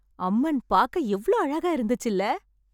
அம்மன் பாக்க எவ்ளோ அழகா இருந்துச்சுல